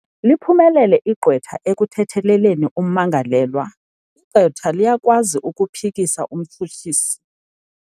Liphumelele igqwetha ekuthetheleleni ummangalelwa. igqwetha liyakwazi ukuphikisa umtshutshisi